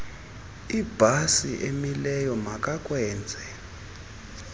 ibhasi emileyo makakwenze